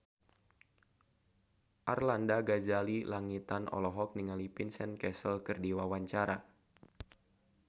Arlanda Ghazali Langitan olohok ningali Vincent Cassel keur diwawancara